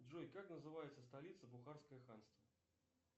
джой как называется столица бухарское ханство